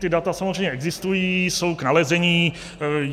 Ta data samozřejmě existují, jsou k nalezení.